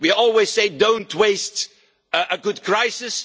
We always say do not waste a good crisis.